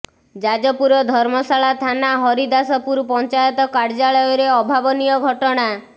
ଯାଜପୁର ଧର୍ମଶାଳା ଥାନା ହରିଦାସପୁର ପଞ୍ଚାୟତ କାର୍ଯ୍ୟାଳୟରେ ଅଭାବନୀୟ ଘଟଣା